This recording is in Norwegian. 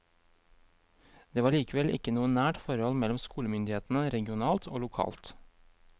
Det var likevel ikke noe nært forhold mellom skolemyndighetene regionalt og lokalt.